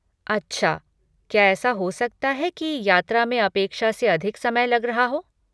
अच्छा, क्या ऐसा हो सकता है कि यात्रा में अपेक्षा से अधिक समय लग रहा हो?